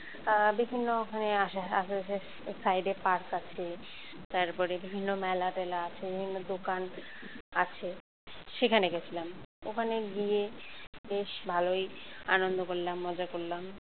আহ বিভিন্ন ওখানে আশেপাশে side এ park আছে তারপরে বিভিন্ন মেলা-টেলা আছে বিভিন্ন দোকান আছে সেখানে গেছিলাম ওখানে গিয়ে বেশ ভালোই আনন্দ করলাম মজা করলাম